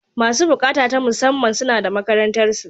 Masu buƙata ta musamman, suna da makarantarsu.